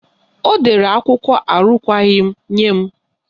Ọ dere akwụkwọ arụkwaghị nye m.